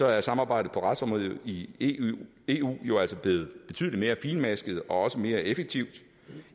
er samarbejdet på retsområdet i eu jo altså blevet betydelig mere finmasket og mere effektivt